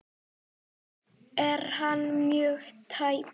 Er hann mjög tæpur?